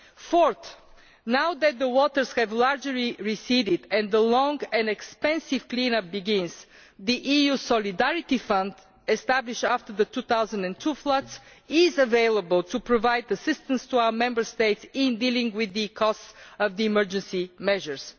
Fourthly, now that the waters have largely receded and the long and expensive clean up begins, the EU's Solidarity Fund established after the 2002 floods is available to provide assistance to our Member States in dealing with the costs of the emergency measures.